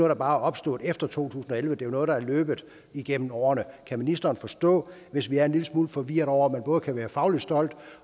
der bare er opstået efter to tusind og elleve det er noget der er løbet igennem årene kan ministeren forstå hvis vi er en lille smule forvirrede over at man både kan være fagligt stolt